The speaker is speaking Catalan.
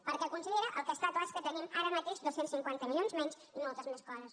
perquè consellera el que està clar és que tenim ara mateix dos cents i cinquanta milions menys i moltes més coses